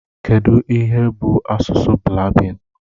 Kedụ ihe bụ asụsụ Blaabin?